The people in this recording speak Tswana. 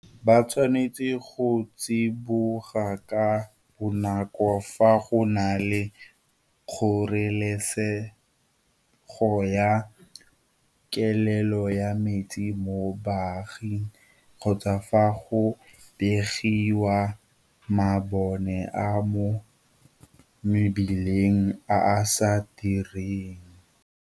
Ba tshwanetse go tsiboga ka bonako fa go na le kgoreletsego ya kelelo ya metsi mo baaging kgotsa fa go begiwa mabone a mo mebileng a a sa direng.